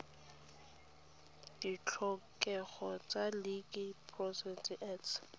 ditlhokego tsa liquor products act